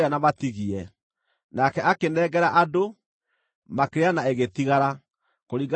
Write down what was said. Nake akĩnengera andũ, makĩrĩa na ĩgĩtigara, kũringana na kiugo kĩa Jehova.